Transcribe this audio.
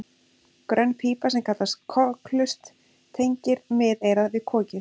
Grönn pípa sem kallast kokhlust tengir miðeyrað við kokið.